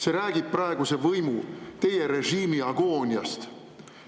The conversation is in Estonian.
See räägib praeguse võimu, teie režiimi agooniast.